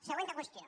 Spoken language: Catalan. següent qüestió